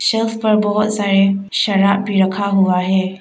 Self पर बहोत सारे शराब भी रखा हुआ है।